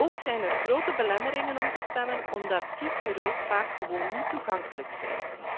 Ook zijn er grote belemmeringen om te stemmen, omdat kiesbureaus vaak gewoon niet toegankelijk zijn.